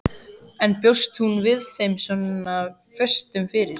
En bjóst hún við þeim svona föstum fyrir?